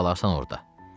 Sən qalarsan orada.